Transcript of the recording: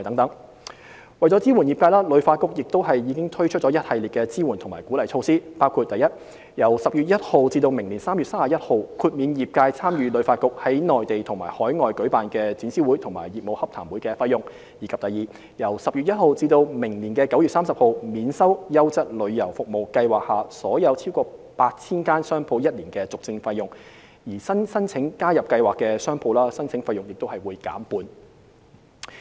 ―為支援業界，旅發局已推出了一系列支援及鼓勵措施，包括： i 由10月1日起至明年3月31日，豁免業界參與旅發局在內地及海外舉辦的展銷會及業務洽談會的費用；及由10月1日至明年9月30日，免收"優質旅遊服務"計劃下所有逾 8,000 間商鋪1年的續證費用，而新申請加入計劃的商鋪，申請費用亦會減半。